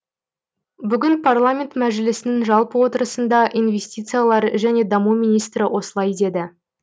бүгін парламент мәжілісінің жалпы отырысында инвестициялар және даму министрі осылай деді